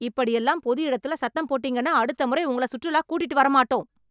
இப்படி எல்லாம் பொது இடத்துல சத்தம் போட்டீங்கன்னா அடுத்த முறை உங்கள சுற்றுலா கூட்டிட்டு வர மாட்டோம்.